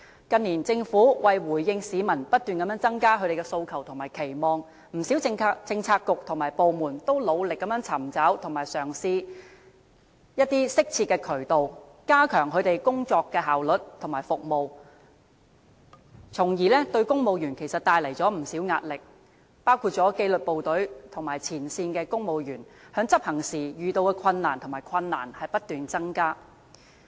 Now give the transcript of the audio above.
近年政府為了回應市民不斷增加的訴求和期望，不少政策局和部門均努力尋找和嘗試一些適切的渠道，以加強其工作效率和服務，但卻為公務員帶來不少壓力，包括紀律部隊和前線公務員在執行職務時遇到的困難不斷增加。